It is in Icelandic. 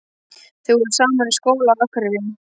Þau voru saman í skóla á Akureyri.